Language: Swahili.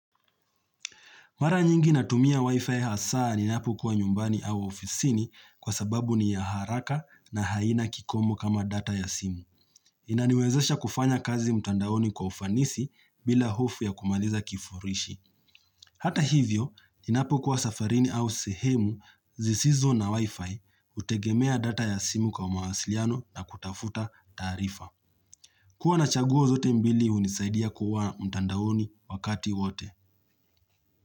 Mara nyingi natumia Wi-Fi hasa ninapo kuwa nyumbani au ofisini kwa sababu ni ya haraka na haina kikomo kama data ya simu. Inaniwezesha kufanya kazi mtandaoni kwa ufanisi bila hofu ya kumaliza kifurishi. Hata hivyo, ninapo kwa safarini au sehemu zisizo na Wi-Fi, hutegemea data ya simu kwa mawasiliano na kutafuta taarifa. Kuwa na chaguo zote mbili hunisaidia kuwa mtandaoni wakati wote.